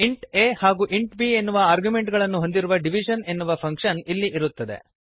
int a ಹಾಗೂ int b ಎನ್ನುವ argument ಗಳನ್ನು ಹೊಂದಿರುವ ಡಿವಿಷನ್ ಎನ್ನುವ ಫಂಕ್ಶನ್ ಇಲ್ಲಿ ಇರುತ್ತದೆ